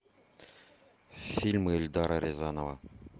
фильмы эльдара рязанова